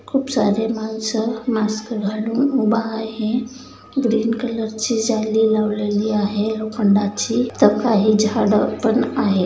खूप सारे माणस मास्क घालून उभा आहे ग्रीन कलरची जाळी लावलेली आहे लोखंडाची तर काही झाड पण आहे.